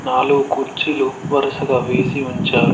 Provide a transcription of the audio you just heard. నాలుగు కుర్చీలు వరుసగా వేసి ఉంచారు.